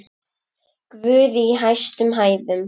Guð í hæstum hæðum!